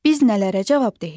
Biz nələrə cavabdehik?